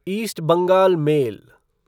east Bengal mail